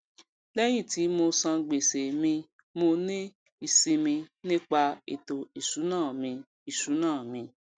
léyìn tí mo san gbèsè mimo ní ìsimi nípa ètò ìsúná mi ìsúná mi